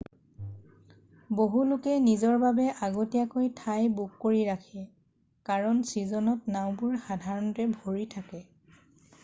বহু লোকে নিজৰ বাবে আগতীয়াকৈ ঠাই বুক কৰি ৰাখে কাৰণ ছীজনত নাওঁবোৰ সাধৰণতে ভৰি থাকে।